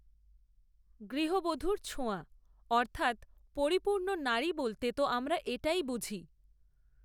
গূহবধূর ছোঁয়া অর্থাত্ পরিপূর্ণ নারী বলতে তো আমরা এটাই বুঝি